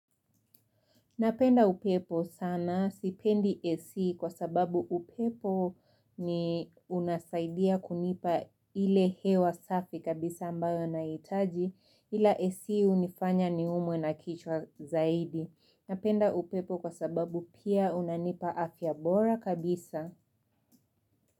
Napenda upepo sana sipendi ac kwa sababu upepo ni unasaidia kunipa ile hewa safi kabisa ambayo na itaji ila ac hunifanya niumwe na kichwa zaidi. Napenda upepo kwa sababu pia unanipa afya bora kabisa.